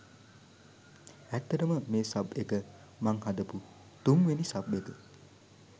ඇත්තටම මේ සබ් එක මං හදපු තුන්වෙනි සබ් එක.